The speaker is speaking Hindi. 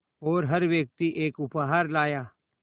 और हर व्यक्ति एक उपहार लाया